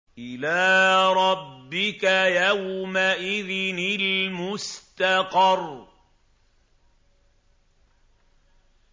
إِلَىٰ رَبِّكَ يَوْمَئِذٍ الْمُسْتَقَرُّ